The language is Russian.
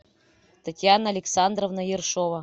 татьяна александровна ершова